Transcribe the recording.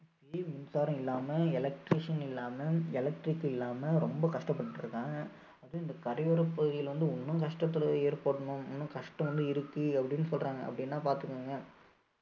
அங்கேயும் மின்சாரம் இல்லாம electrician இல்லாம electric இல்லாம ரொம்ப கஷ்டப்பட்டுட்டு இருந்தாங்க அதுவும் இந்த கரையோரப் பகுதிகள்ல வந்து இன்னும் கஷ்டத்துல ஏற்படணும் இன்னும் கஷ்டம் வந்து இருக்கு. அப்படின்னு சொல்றாங்க அப்படீன்னா பார்த்துக்கோங்க